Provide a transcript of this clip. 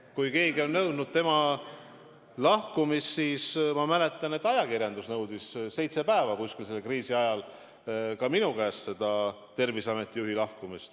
Kui keegi on nõudnud tema lahkumist, siis ma mäletan, et ajakirjandus nõudis seitse päeva millalgi selle kriisi ajal, ka minu käest, Terviseameti juhi lahkumist.